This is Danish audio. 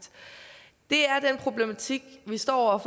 det er den problematik vi står over